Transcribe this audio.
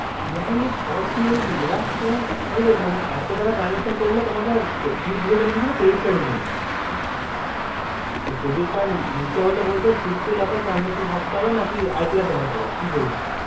yearly fortyeight lacs তোমার কে বললো মানে এতো টাকার transaction করলে তোমাকে তুমি কিসের জন্য গিয়েছিলে credit card এর জন্য তো cardite card নিতে হলে বলছে sixty lacs এর transaction হবে থাকতে না কি ITR দেখতে হবে